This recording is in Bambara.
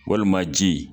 Walima ji